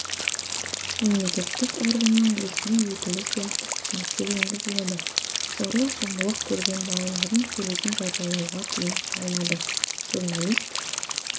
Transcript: мемлекеттік органның ресми өкілі сияқты түсініктер енгізіледі зорлық-зомбылық көрген балалардың суретін жариялауға тыйым салынады журналист